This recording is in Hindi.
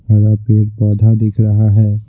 हरा पेड़ पौधा दिख रहा है।